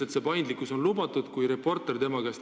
Tema ütles, et paindlikkus on lubatud.